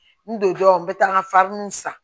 N don dɔ n bɛ taa n ka san